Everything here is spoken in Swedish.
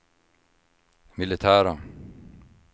militära